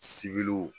Sibiriw